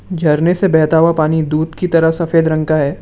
झरने से बहता हुआ पानी दूध की तरह सफेद रंग का है।